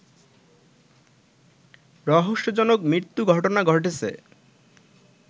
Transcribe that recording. রহস্যজনক মৃত্যু ঘটনা ঘটেছে